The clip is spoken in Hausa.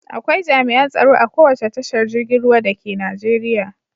Akwai jami'an tsaro a kowace tashar girgin ruwa dake Najeriya.